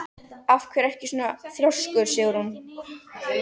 Af hverju ertu svona þrjóskur, Sigrún?